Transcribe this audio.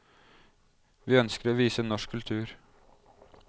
Vi ønsker å vise norsk kultur.